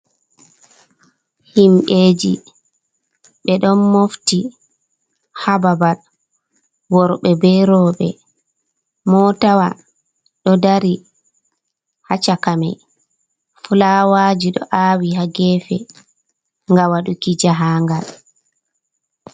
Himɓe ji ɓe ɗon mofti haa babal, worɓe be rooɓe, moota wa ɗo dari haa shaka mai, fulawaaji ɗo a'wii haa geefe, ga waɗuki jahaangal.